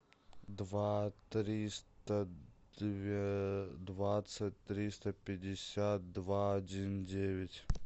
два триста двадцать триста пятьдесят два один девять